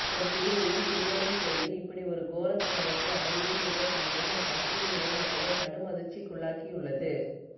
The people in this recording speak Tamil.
ஒரு சிறுமியும் சிறுவனும் சேர்ந்து இப்படி ஒரு கோர சம்பவத்தை அரங்கேற்றியுள்ள சம்பவம் அப்பகுதியிலுள்ள மக்களை கடும் அதிர்ச்சிக்குள்ளாக்கியுள்ளது